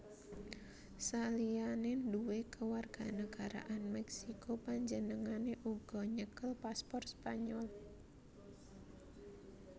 Saliyané nduwé kewarganagaraan Meksiko panjenengané uga nyekel paspor Spanyol